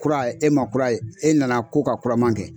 Kura e ma kura ye e nana ko ka kuraman kɛ